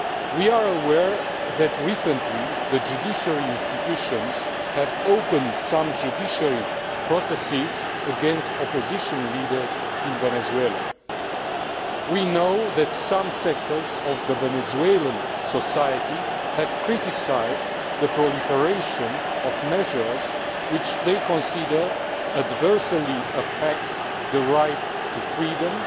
We are aware that recently the judicial institutions have opened some judicial processes against opposition leaders in Venezuela. We know that some sectors of Venezuelan society have criticised the proliferation of measures which they consider adversely affect the right to freedom